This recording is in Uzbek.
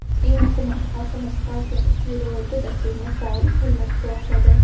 Eng muhimi, xalqimiz partiyamiz Saylovoldi dasturini faol qo‘llab-quvvatladi.